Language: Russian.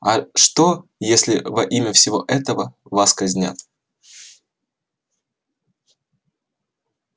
а что если во имя всего этого вас казнят